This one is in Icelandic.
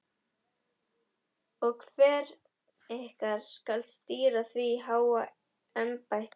Og hver ykkar skal stýra því háa embætti?